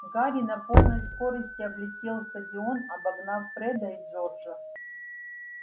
гарри на полной скорости облетел стадион обогнав фреда и джорджа